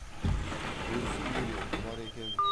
өзі өлеңқұмар екен